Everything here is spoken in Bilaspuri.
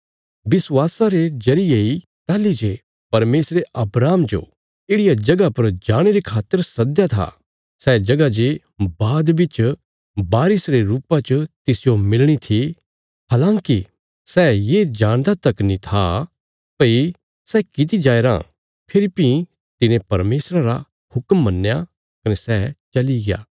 विश्वासा रे जरिये इ ताहली जे परमेशरे अब्राहम जो येढ़िया जगह पर जाणे रे खातर सद्दया था सै जगह जे बाद बिच वारिस रे रुपा च तिसजो मिलणी थी हलाँकि सै ये जाणदा तक नीं था भई सै कित्ती जाया राँ फेरी भीं तिने परमेशरा रा हुक्म मन्नया कने सै चली गया